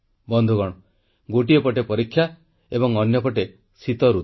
ବନ୍ଧୁଗଣ ଗୋଟିଏ ପଟେ ପରୀକ୍ଷା ଏବଂ ଅନ୍ୟ ପଟେ ଶୀତଋତୁ